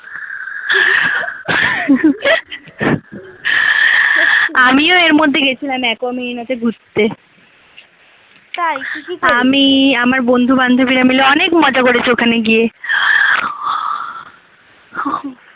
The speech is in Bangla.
আমিও এর মধ্যে গেয়েসিলাম Aquamarine তে ঘুরতে আমি আমার বন্ধু বান্ধবীরা মিলে অনেক মজা করেছি ওখানে গিয়ে